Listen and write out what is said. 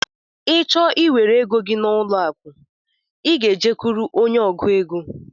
Ị chọọ iwere égo gị n'ụlọ akụ, I gá e jekuru ónyé ọgụ égo.